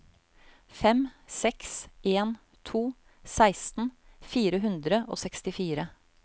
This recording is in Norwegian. fem seks en to seksten fire hundre og sekstifire